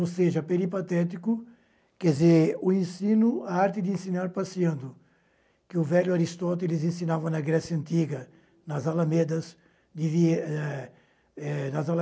Ou seja, peripatético, quer dizer, o ensino, a arte de ensinar passeando, que o velho Aristóteles ensinava na Grécia Antiga, nas Alamedas de eh eh nas Alamedas